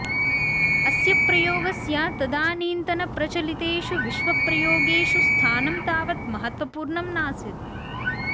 अस्य प्रयोगस्य तदानीन्तनप्रचलितेषु विश्वप्रयोगेषु स्थानं तावत् महत्वपूर्णं नासीत्